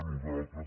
nosal·tres